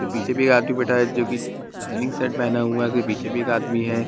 पीछे भी एक आदमी बैठा है जो की लाइनिंग्स शर्ट पेहना हुआ है उसके पीछे भी एक आदमी है।